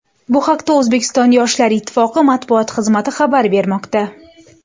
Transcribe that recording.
Bu haqda O‘zbekiston Yoshlar ittifoqi matbuot xizmati xabar bermoqda.